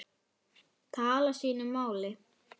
tala sínu máli.